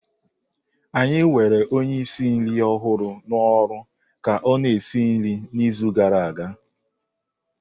Anyị were onye ísì nri ọhụrụ na oru ka ọ-na esi nri n'izu gara aga.